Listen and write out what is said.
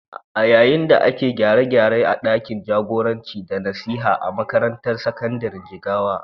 A yayin da ake gyare-gyare a ɗakin jagoranci da nasiha a makarantar sakandiren Jigawa.